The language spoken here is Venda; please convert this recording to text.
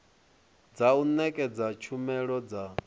dza u nekedza tshumelo dza